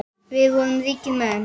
Við vorum ríkir menn.